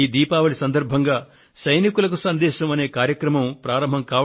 ఈ దీపావళి సందర్భంగా Sandesh to soldiers అనే కార్యక్రమాన్ని ప్రారంభించారు